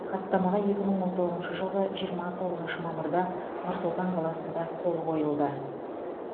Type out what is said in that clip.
хаттамаға екі мың он тоғызыншы жылғы жиырма тоғызыншы мамырда нұр сұлтан қаласында қол қойылды